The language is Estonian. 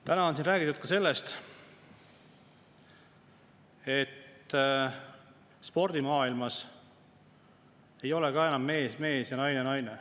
Täna on siin räägitud ka sellest, et spordimaailmas ei ole enam mees mees ja naine naine.